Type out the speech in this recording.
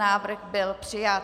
Návrh byl přijat.